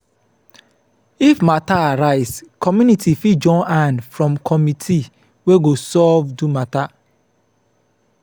if matter arise community fit join hand from committee wey go solve do matter